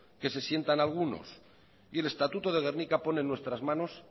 que se sienta algunos y el estatuto de gernika pone en nuestras manos